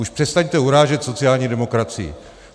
Už přestaňte urážet sociální demokracii.